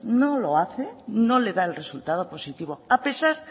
no lo hace no le da el resultado positivo a pesar